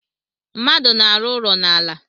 Mmadụ na-arụ ụlọ n'ala